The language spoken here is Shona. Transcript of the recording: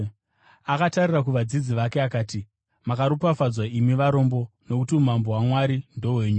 Akatarira kuvadzidzi vake, akati: “Makaropafadzwa imi varombo, nokuti umambo hwaMwari ndohwenyu.